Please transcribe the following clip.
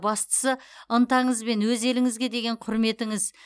бастысы ынтаңыз мен өз еліңізге деген құрметіңіз